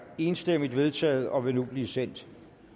enstemmigt vedtaget og vil nu blive sendt